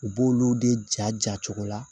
U b'olu de ja ja cogo la